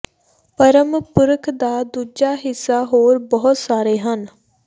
ਪਰਮ ਪੁਰਖ ਦਾ ਦੂਜਾ ਹਿੱਸਾ ਹੋਰ ਬਹੁਤ ਸਾਰੇ ਹਨ